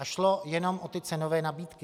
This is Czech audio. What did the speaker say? A šlo jenom o ty cenové nabídky.